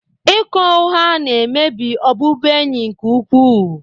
Ịkọ ụgha na-emebi ọbụbụenyi nke ukwuu